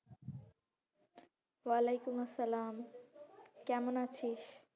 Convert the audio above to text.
ওয়ালাইকুম আসসালাম কেমন আছিস?